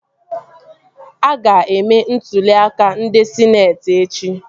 A ga-eme ntụli aka ndị sịneetị echi